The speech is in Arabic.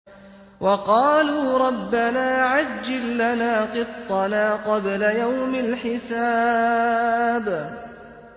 وَقَالُوا رَبَّنَا عَجِّل لَّنَا قِطَّنَا قَبْلَ يَوْمِ الْحِسَابِ